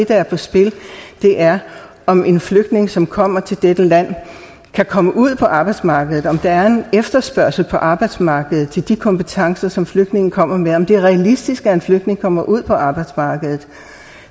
der er på spil er om en flygtning som kommer til dette land kan komme ud på arbejdsmarkedet om der er en efterspørgsel på arbejdsmarkedet efter de kompetencer som flygtningen kommer med og om det er realistisk at en flygtning kommer ud på arbejdsmarkedet